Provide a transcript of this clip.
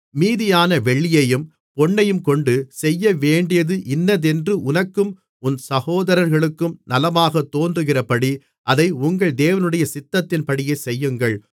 மீதியான வெள்ளியையும் பொன்னையும்கொண்டு செய்யவேண்டியது இன்னதென்று உனக்கும் உன் சகோதரர்களுக்கும் நலமாகத் தோன்றுகிறபடி அதை உங்கள் தேவனுடைய சித்தத்தின்படியே செய்யுங்கள்